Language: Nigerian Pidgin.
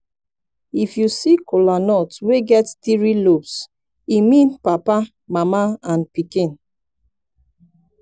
if yu see kolanut wey get tiri lobes e mean papa mama and pikin